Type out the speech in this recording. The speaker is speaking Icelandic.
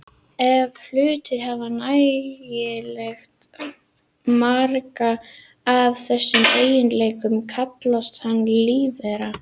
Ef hlutur hefur nægilega marga af þessum eiginleikum kallast hann lífvera.